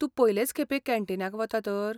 तूं पयलेंच खेपें कॅन्टीनाक वता तर?